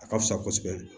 A ka fisa kosɛbɛ